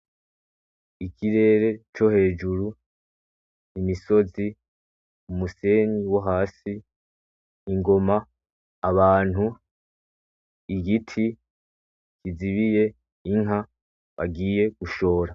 Ikirere co hejuru, imisozi umusenyi wo hasi ingoma abantu igiti kizibiye inka bagiye gushora .